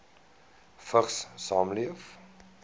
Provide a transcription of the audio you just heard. vigs saamleef